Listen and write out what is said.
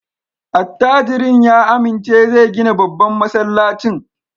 Attajirin ya amince zai gina babban masallacin.